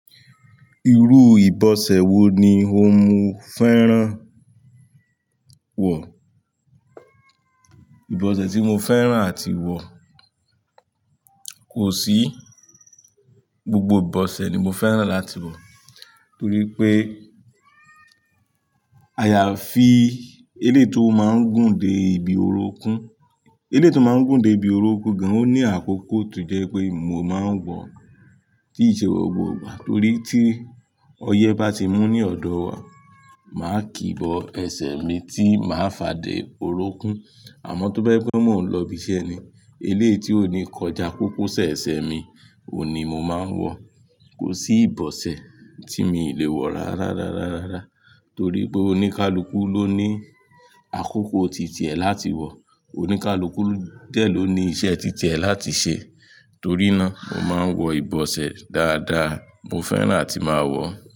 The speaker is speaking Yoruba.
Irú ìbọ̀sẹ̀ wo ni o mú fẹ́ràn wọ̀? Ìbọ̀sẹ̀ tí mo fẹ́ràn àti wọ̀ kò sí. Gbogbo ìbọ̀sẹ̀ ni mo fẹ́ràn láti wọ̀. Torí pé àyàfi eléyii tó máa ń gùn dé ibi orókún. Eléyii tó máa ń gùn dé ibi orókún gan, ó ní àkókò tó jẹ́ pé mo máa ń wọ ọ, tí i ṣe gbogbo ìgbà torí tí ọyẹ́ bá ti mú ní ọ̀dọ̀ wa, màá kì i bọ ẹsẹ̀ mi tí màá fà dé orókún. Àmọ́ tó bá e pé mò ń lọbi iṣẹ́ ni, eléyii tí ó ní kọjá kókósẹ̀ ẹsẹ̀ mi, òun ni mo máa ń wọ. Kò sí ìbọ̀sẹ̀ tí mi ì lè wọ rárá rárá rárá. Torí pé oníkálukú ló ní àkókò ti tiẹ̀ láti wọ̀. Oníkálukú dẹ̀ ló ní iṣẹ́ ti tiẹ̀ láti ṣe. Torí náà, mo máa ń wọ ìbọ̀sẹ̀ dáadáa, mo fẹ́ràn àti máa wọ̀.